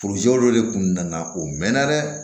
de kun nana o mɛn na dɛ